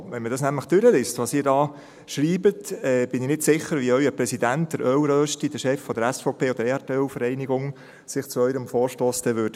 Wenn man nämlich durchliest, was Sie da schreiben, bin ich nicht sicher, wie sich Ihr Präsident – der «Öl-Rösti», Chef der SVP und der Erdölvereinigung – zu Ihrem Vorstoss äussern würde.